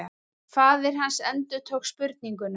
Faðir hans endurtók spurninguna.